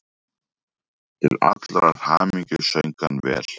Til allrar hamingju söng hann vel!